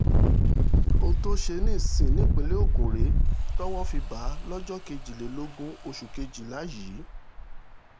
ohun tó ṣe ní siun nípínlẹ̀ ogun rèé tọ́wọ́ fi bá a lọ́jọ́ kejìlélógún oṣù kejìlá yìí